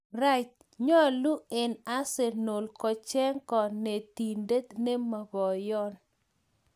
Wright, nyolu en arsenal kocheng konetindet nemo poyon.